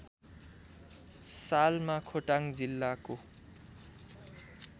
सालमा खोटाङ जिल्लाको